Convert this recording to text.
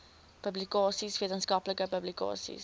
publikasies wetenskaplike publikasies